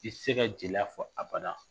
I t'i se ka jeliya fɔ aba